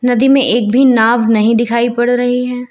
नदी में एक भी नाव नहीं दिखाई पड़ रही है।